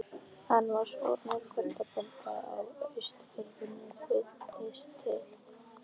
Hann var sonur kotbónda á Austfjörðum, fluttist til